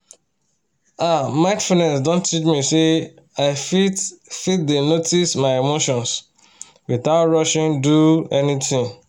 ah mindfulness don teach me say i fit fit dey notice my emotions without rushing do anything